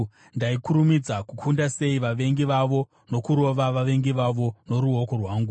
ndaikurumidza kukunda sei vavengi vavo nokurova vavengi vavo noruoko rwangu!